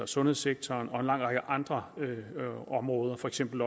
sundhedssektoren og en lang række andre områder for eksempel